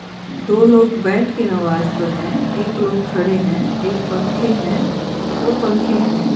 दो लोग बैठ के नमाज पढ़ रहे हैं एक लोग खड़े हैं एक पंखे हैं दो पंखे हैं।